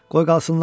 Qoy qalsınlar.